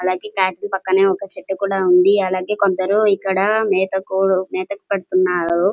అలాగే క్యాట్ పక్కన ఒక షెడ్ కూడా ఉంది అలాగే కొందరు ఇక్కడ మేత కొర్ మేథక్ కడుతున్నారు --